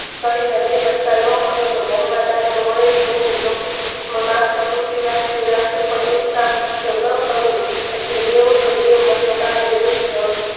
એક સળીના બે કટકા ન કરો તો ઘરમાં દાંડો વાલેશ નહિ માથું ખુંચવી રાખે પણ જે ન કરે એટલે બે મને બા